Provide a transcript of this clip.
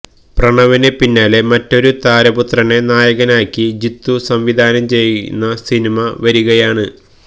പ്രണവിന് പിന്നാലെ മറ്റൊരു താരപുത്രനെ നായകനാക്കി ജിത്തു സംവിധാനം ചെയ്യുന്ന സിനിമ വരികയാണ്